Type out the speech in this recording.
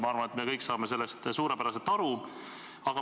Ma arvan, et me kõik saame sellest suurepäraselt aru.